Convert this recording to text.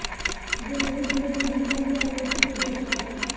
ਜੇ ਨਹੀਂ ਜੁੜੇਗੀ ਪਹਿਲੇ ਆਲੀ ਤੇ ਚੋਥਾ ਹੈਗਾ।